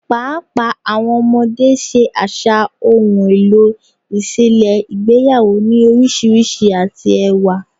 Paapaa awọn ọmọde ṣe aṣa ohun elo iṣẹlẹ igbeyawo ni oriṣiriṣi ati ẹwa